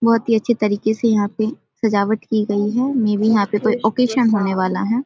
बहुत ही अच्छे तरीके से यहाँ पे सजावट की गई है मे बी यहाँ पे कोई ऑकेशन होने वाला है।